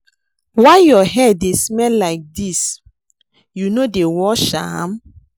Why your hair dey smell like dis? You no dey wash am?